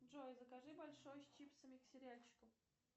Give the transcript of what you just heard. джой закажи большой с чипсами к сериальчику